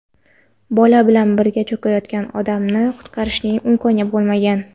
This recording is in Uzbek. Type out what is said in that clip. Bola bilan birga cho‘kayotgan odamni qutqarishning imkoni bo‘lmagan.